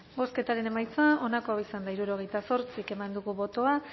bozketaren emaitza onako izan da hirurogeita zortzi eman dugu bozka